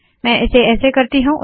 मैं इसे ऐसे करती हूँ